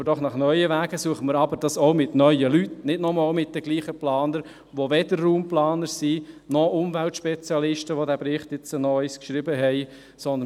: Suchen wir nach neuen Wegen, und suchen wir diese mit neuen Leuten, nicht nochmals mit denselben Planern, die weder Raumplaner noch Umweltspezialisten sind und die diesen Bericht nochmal geschrieben haben.